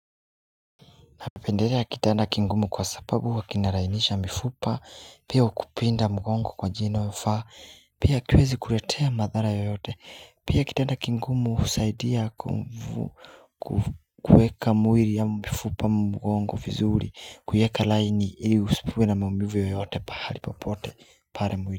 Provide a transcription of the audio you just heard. Napendelea kitana kingumu kwa sababu wakinarainisha mifupa, pia ukupinda mgongo kwa jia inayo faa, pia kwezi kuletea madhara yoyote, pia kitana kingumu usaidia kweka mwili ya mifupa mgongo vizuri, kweka laini ili usikuwe na maumivu yoyote pahalipopote pale mwili.